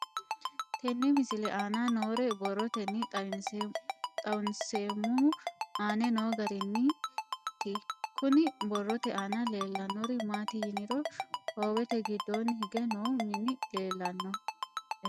Tenne misile aana noore borroteni xawiseemohu aane noo gariniiti. Kunni borrote aana leelanori maati yiniro Hoowete giddonni hige noo minni leelanoe.